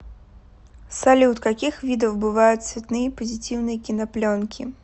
салют каких видов бывают цветные позитивные кинопленки